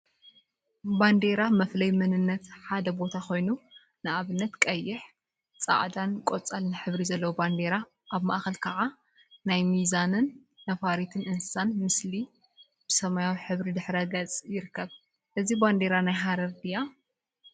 ባንዴራ ባንዴራ መፍለይ መንነት ሓደ ቦታ ኮይኑ፤ ንአብነት ቀይሕ፣ ፃዕዳን ቆፃልን ሕብሪ ዘለዋ ባንዴራ አብ ማእከል ከዓ ናይ ሚዛንን ነፋሪት እንስሳን ምስሊ ብሰማያዊ ሕብሪ ድሕረ ገፅ ይርከብ፡፡ እዛ ባንዴራ ናይ ሃረር ድያ?